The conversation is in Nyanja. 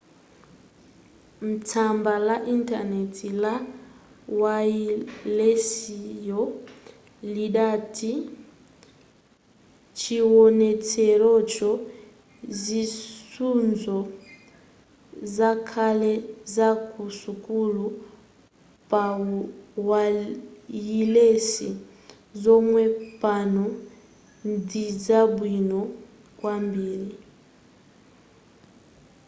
tsamba la intaneti la wayilesiyo lidati chiwonetserocho zisudzo zakale zaku sukulu pawayilesi zomwe pano ndizabwino kwambiri